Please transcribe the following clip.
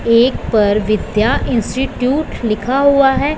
एक पर विद्या इंस्टिट्यूट लिखा हुआ है।